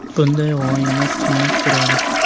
Bunday g‘oyalar qimmat turadi.